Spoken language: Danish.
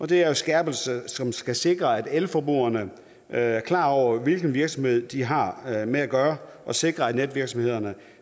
det er en skærpelse som skal sikre at elforbrugerne er klar over hvilken virksomhed de har med at gøre og sikre at netvirksomheder